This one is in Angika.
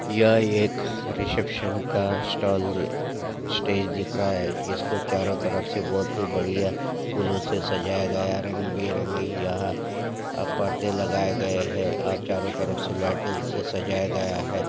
यह एक रिसेप्शन का स्टॉल स्टेज दिख रहा है इसको चारों तरफ से बहुत ही बढ़िया फूलों से सजाया गया रंगी बिरंगी यह अ पर्दे लगाए गए हैं और चारों तरफ से लाइटों से सजाया गया है।